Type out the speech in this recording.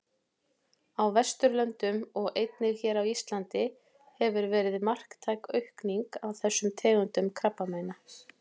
Á Vesturlöndum og einnig hér á Íslandi hefur verið marktæk aukning á þessum tegundum krabbameina.